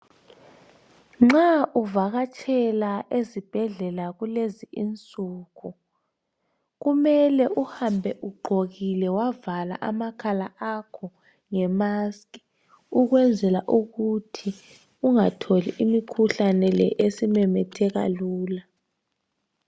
Nxa uvakatshela esibhedlela kulezi insuku, kumele uhambe ugqokile wavala amakhala akho ngemask ukwenzela ukuthi ungatholi imikhuhlane le esimemetheka lula.